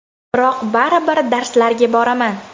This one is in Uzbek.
Biroq baribir darslarga boraman.